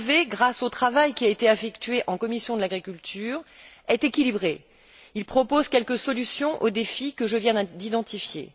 Bové, grâce au travail qui a été effectué en commission de l'agriculture, est équilibré. Il propose quelques solutions aux défis que je viens d'identifier.